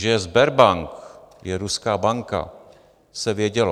Že Sberbank je ruská banka, se vědělo.